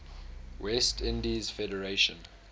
west indies federation